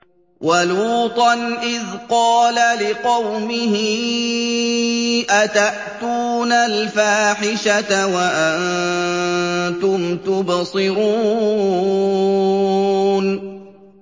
وَلُوطًا إِذْ قَالَ لِقَوْمِهِ أَتَأْتُونَ الْفَاحِشَةَ وَأَنتُمْ تُبْصِرُونَ